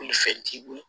Bolifɛn t'i bolo